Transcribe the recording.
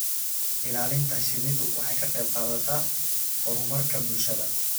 Ilaalinta shinnidu waxay ka qayb qaadataa horumarka bulshada.